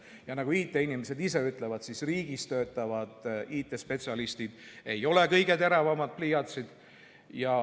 Ja nagu IT-inimesed ise ütlevad, ei ole riigisektoris töötavad IT-spetsialistid just kõige teravamad pliiatsid.